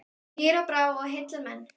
Og hýr á brá og heillar menn.